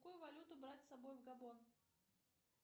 какую валюту брать с собой в габон